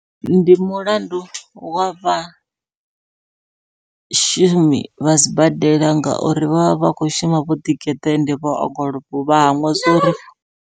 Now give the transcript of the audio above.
Ndi mulandu wavha shumi vha sibadela ngauri vha vha vha kho shuma vho ḓigeḓa ende vho ongolowa vha hangwa zwori.